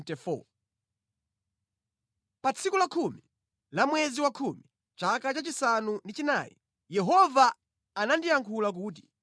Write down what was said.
Pa tsiku lakhumi la mwezi wakhumi chaka chachisanu ndi chinayi, Yehova anandiyankhula kuti: